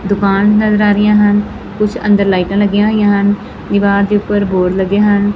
ਦੁਕਾਨ ਨਜ਼ਰ ਆ ਰਹੀਆਂ ਹਨ ਕੁਝ ਅੰਦਰ ਲਾਈਟਾਂ ਲੱਗੀਆਂ ਹੋਈਆਂ ਹਨ ਦੀਵਾਰ ਦੇ ਉੱਪਰ ਬੋਰਡ ਲੱਗੇ ਹਨ।